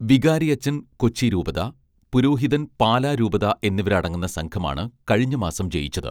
വികാരിയച്ചൻ കൊച്ചി രൂപതാ പുരോഹിതൻ പാലാ രൂപതാ എന്നിവരടങ്ങുന്ന സംഘമാണ് കഴിഞ്ഞ മാസം ജയിച്ചത്